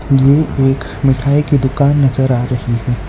ये एक मिठाई की दुकान नजर आ रही है।